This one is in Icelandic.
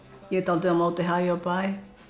ég er dáldið á móti hæ og bæ